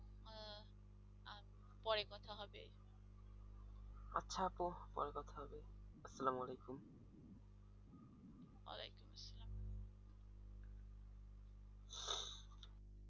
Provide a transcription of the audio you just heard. আচ্ছা আপ্পু পরে কথা হবে আসসালা মালিকুম।